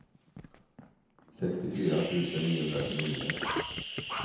sextiofyra tusen niohundratjugonio